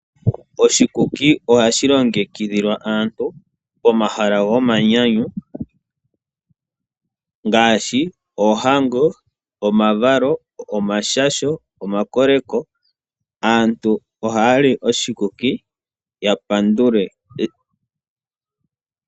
Oshikuki ohashi longekidhilwa aantu pomahala gomanyanyu ngaashi opoohango, omavalo, omashasho nosho woo omakoleko. Aantu ohaya li oshikuki yapandule pamba gopombandambanda.